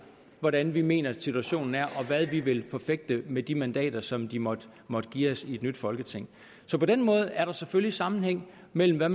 hvordan vi mener situationen er og hvad vi vil forfægte med de mandater som de måtte måtte give os i et nyt folketing så på den måde er der selvfølgelig sammenhæng mellem hvad